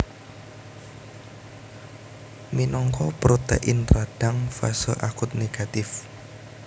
Minangka protein radang fase akut négatif